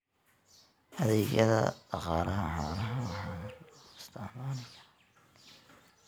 Adeegyada Dhaqaalaha Xoolaha waxa loo isticmaali karaa hanti ahaan.